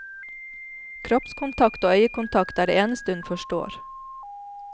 Kroppskontakt og øyekontakt er det eneste hun forstår.